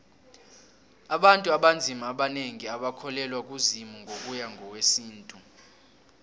abantu abanzima abanengi abakholelwa kuzimu ngokuya ngowesintu